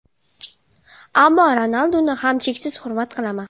Ammo Ronalduni ham cheksiz hurmat qilaman.